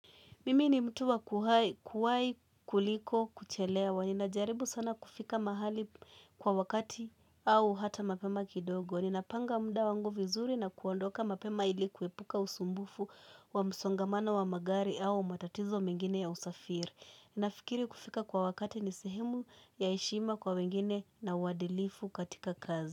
Mimi ni mtu wa kuwai kuliko kuchelewa wa ninajaribu sana kufika mahali kwa wakati au hata mapema kidogo. Ninapanga mda wangu vizuri na kuondoka mapema ili kuwepuka usumbufu wa msongomano wa magari au matatizo mengine ya usafiri. Nafikiri kufika kwa wakati ni sehemu ya eshima kwa wengine na uwadilifu katika kazi.